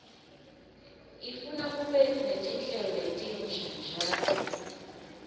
ifuna ube netinhlelo letinsha njalo